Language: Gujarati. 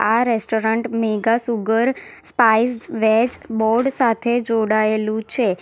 આ restaurant Megha sugar spice veg board સાથે જોડાયેલું છે.